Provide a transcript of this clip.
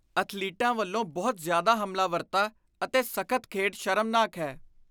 ਅਥਲੀਟਾਂ ਵੱਲੋਂ ਬਹੁਤ ਜ਼ਿਆਦਾ ਹਮਲਾਵਰਤਾ ਅਤੇ ਸਖ਼ਤ ਖੇਡ ਸ਼ਰਮਨਾਕ ਹੈ।